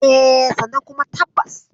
E, sannan kuma tabbas.